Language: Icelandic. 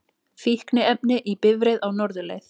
Fíkniefni í bifreið á norðurleið